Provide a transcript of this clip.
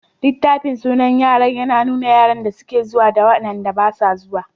Littafin sunan yara yana nuna yaran da suke zuwa da waɗanda basu zuwa.